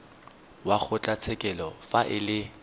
wa kgotlatshekelo fa e le